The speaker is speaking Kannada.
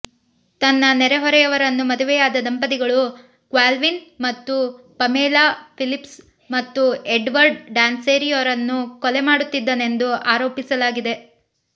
ತನ್ನ ನೆರೆಹೊರೆಯವರನ್ನು ಮದುವೆಯಾದ ದಂಪತಿಗಳು ಕ್ಯಾಲ್ವಿನ್ ಮತ್ತು ಪಮೇಲಾ ಫಿಲಿಪ್ಸ್ ಮತ್ತು ಎಡ್ವರ್ಡ್ ಡಾನ್ಸೆರಿಯೊರನ್ನು ಕೊಲೆ ಮಾಡುತ್ತಿದ್ದನೆಂದು ಆರೋಪಿಸಲಾಗಿದೆ